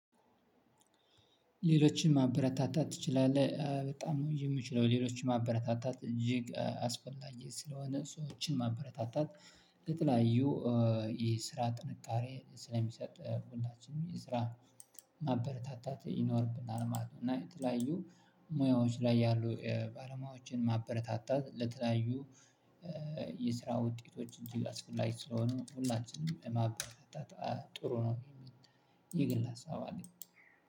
ሌሎችን ማበረታታት ትችላለህ በጣም ነው ምችለው ሌሎችን ማበረታታት እጅግ አስፈላጊ ስለሆነ ሰዎችን ማበረታታት ለተለያዩ ይሄ ስራ ጥንቃሬ ስለሚሰጥ ሁላችንም ስራ ማበረታታት ይኖርብናል ማለት ነው። እና የተለያዩ ሙያዎች ላይ ያሉ ባለሙያዎችን ማበረታታት ለተለያዩ የስራ ውጤቶች እጅግ አስፈላጊ ስለሆኑ ሁላችንም ማበረታታት ጥሩ ነው። የሚል ይግል ሀሳብ አለኝ።